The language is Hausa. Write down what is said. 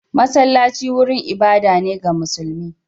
Masallaci wurin ibada ne ga musulmi.